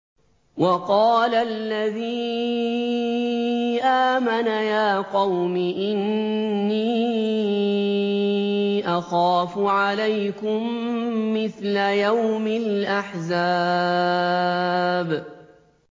وَقَالَ الَّذِي آمَنَ يَا قَوْمِ إِنِّي أَخَافُ عَلَيْكُم مِّثْلَ يَوْمِ الْأَحْزَابِ